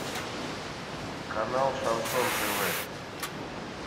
канал шансон тв